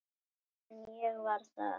Fyrr en ég varð það.